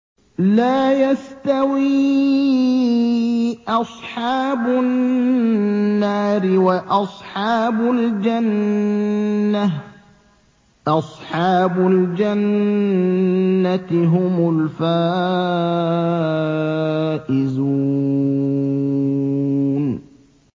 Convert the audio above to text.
لَا يَسْتَوِي أَصْحَابُ النَّارِ وَأَصْحَابُ الْجَنَّةِ ۚ أَصْحَابُ الْجَنَّةِ هُمُ الْفَائِزُونَ